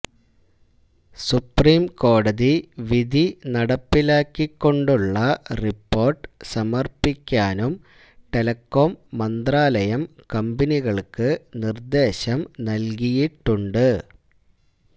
supreme കോടതി വിധി നടപ്പിലാക്കിക്കൊണ്ടുള്ള റിപ്പോർട്ട് സമർപ്പിക്കാനും ടെലികോം മന്ത്രാലയം കമ്പനികൾക്ക് നിർദേശം നൽകിയിട്ടുണ്ട്